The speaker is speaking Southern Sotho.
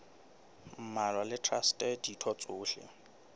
mmalwa le traste ditho tsohle